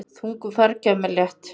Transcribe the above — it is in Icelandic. Þungu fargi af mér létt.